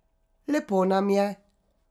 Lepo nam je.